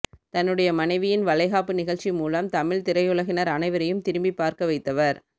தன்னுடைய மனைவியின் வளை காப்பு நிகழ்ச்சி மூலம் தமிழ்த் திரையுலகினர் அனைவரையும் திரும்பிப் பார்க்கவைத்தவர்